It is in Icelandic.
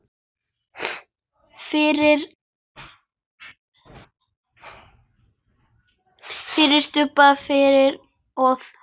FYRIR STUBB fyrir ofan.